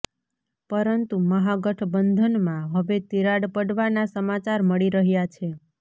પરંતુ મહાગઠબંધનમાં હવે તિરાડ પડવાના સમાચાર મળી રહ્યાં છે